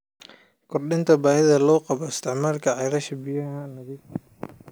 Kordhinta baahida loo qabo isticmaalka ceelasha biyaha nadiifka ah.